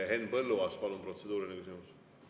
Henn Põlluaas, palun, protseduuriline küsimus!